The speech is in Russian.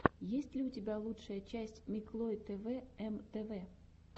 есть ли у тебя лучшая часть миклой тэвэ эм тэ вэ